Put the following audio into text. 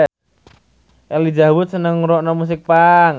Elijah Wood seneng ngrungokne musik punk